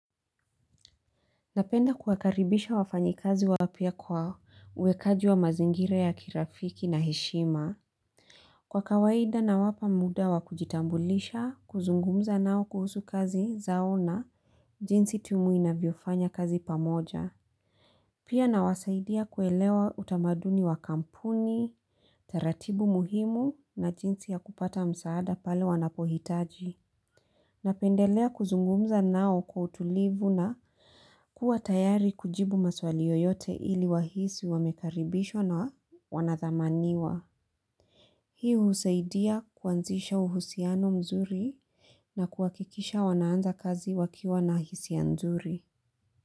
Napenda kuwakaribisha wafanyikazi wapya kwa uwekaji wa mazingira ya kirafiki na heshima. Kwa kawaida nawapa muda wa kujitambulisha, kuzungumza nao kuhusu kazi zao na jinsi timu inavyofanya kazi pamoja. Pia nawasaidia kuelewa utamaduni wa kampuni, taratibu muhimu na jinsi ya kupata msaada pale wanapohitaji. Napendelea kuzungumza nao kwa utulivu na kuwa tayari kujibu maswali yoyote ili wahisi wamekaribishwa na wanathamaniwa. Hii husaidia kuanzisha uhusiano mzuri na kuakikisha wanaanza kazi wakiwa na hisia nzuri.